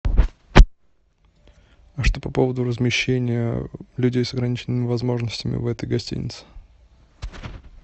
а что по поводу размещения людей с ограниченными возможностями в этой гостинице